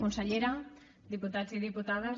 consellera diputats i diputades